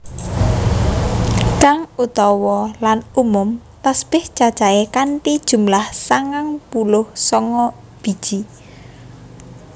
Kang utawa lan umum Tasbèh cacahé kanthi jumlah sangang puluh sanga biji